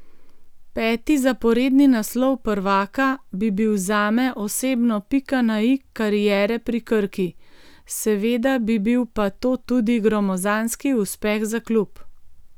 Peti zaporedni naslov prvaka bi bil zame osebno pika na i kariere pri Krki, seveda bi bil pa to tudi gromozanski uspeh za klub.